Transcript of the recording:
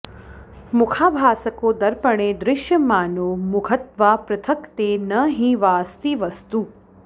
मुखाभासको दर्पणे दृश्यमानो मुखत्वापृथक् ते न हि वाऽस्ति वस्तु